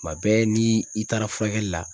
Tuma bɛɛ ni i taara furakɛli la